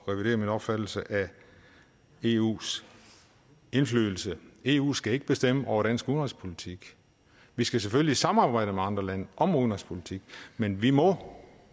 at revidere min opfattelse af eus indflydelse eu skal ikke bestemme over dansk udenrigspolitik vi skal selvfølgelig i samarbejde med andre lande om udenrigspolitik men vi må